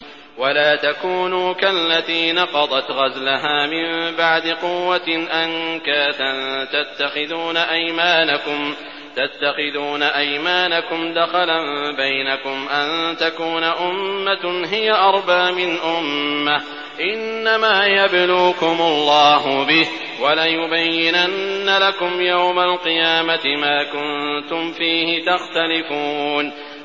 وَلَا تَكُونُوا كَالَّتِي نَقَضَتْ غَزْلَهَا مِن بَعْدِ قُوَّةٍ أَنكَاثًا تَتَّخِذُونَ أَيْمَانَكُمْ دَخَلًا بَيْنَكُمْ أَن تَكُونَ أُمَّةٌ هِيَ أَرْبَىٰ مِنْ أُمَّةٍ ۚ إِنَّمَا يَبْلُوكُمُ اللَّهُ بِهِ ۚ وَلَيُبَيِّنَنَّ لَكُمْ يَوْمَ الْقِيَامَةِ مَا كُنتُمْ فِيهِ تَخْتَلِفُونَ